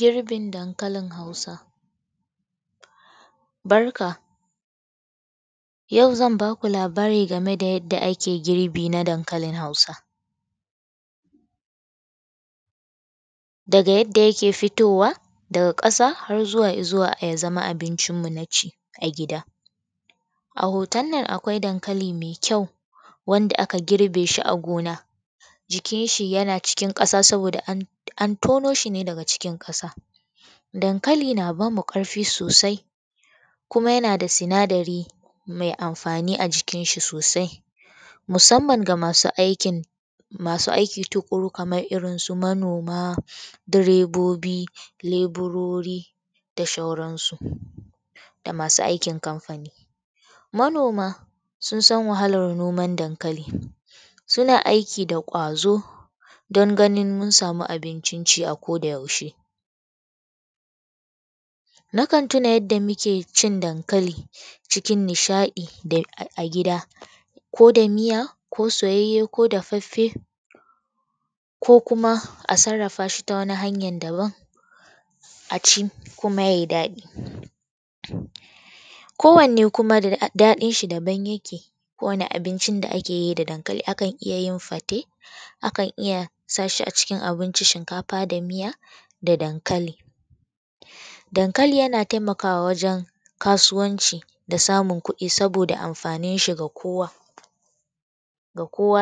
Girbin dankalin hausa, barka yau zan ba ku labari game yadda a ake girbin danklain Hausa. Daga yadda yake fitowa daga ƙasa har zuwa yake zama abincinmu na ci a gida. A hoton nan akwai dankali mai ƙyau wanda aka gir shi a gona jikin shi yana cikin ƙasa saboda an yono shi daga ƙasa. Dankali na ba mu ƙarfi sosai kuma yana da sinadari mai amfani a jikin shi sosai. Musamman ga masu aiki tukuru kamar su manoma, direbobi,, leburoei da sauransu da masu aikin kamfani. Manoma sun san wahalar no.an dankali, sun aiki da ƙwazo don ganin mun sama abincin ci a ko da yaushe. Nakan tuna yadda muke ci dankalin cikin nishaɗi a gida ko miya ko soyayye ko dafaffe ko kuma a sarrafa shi ta wani hanyar daban a ci kuma ya yi daɗi, kowanne kuma daɗin shi daban yake kowanne abincin da ake yi da dankali akan iya sa shi a cikin abinci shinkafa da miya da dankali. Dankali yana taimakwa wajen kasuwanci da samun kuɗi saboda amfanin shi ga kowa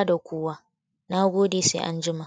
da kowa, na gode sai anjima.